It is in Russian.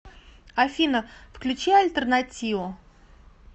афина включи альтернатио